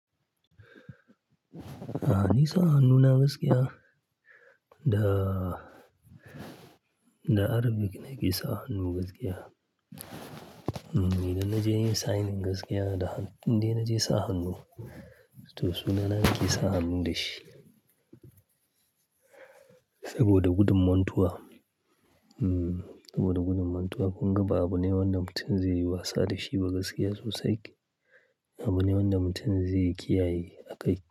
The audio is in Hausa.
A'a ni sa hannu na gaskiya? Da, da Arabic ne ke sa hannu gaskiya. Idan naje yin signing gaskiya, da indai naje sa hannu. To suna na nake sa hannu da shi saboda gudun mantuwa. Mm, saboda gudun mantuwa kunga ba abu ne wanda mutum zai yi wasa da shi ba gaskiya sosai. Abu ne wanda mutum zai kiyaye a kai.